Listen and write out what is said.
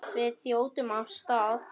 Við þjótum af stað.